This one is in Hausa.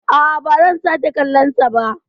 A'a, ba zan sake kallon sa ba.